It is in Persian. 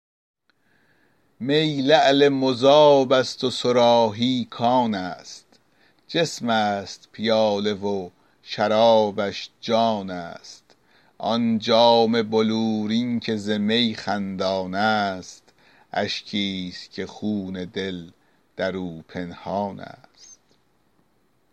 می لعل مذاب است و صراحی کان است جسم است پیاله و شرابش جان است آن جام بلورین که ز می خندان است اشکی است که خون دل در او پنهان است